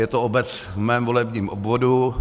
Je to obec v mém volebním obvodu.